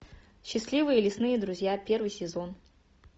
счастливые лесные друзья первый сезон